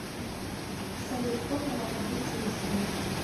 салют формула таблица истинности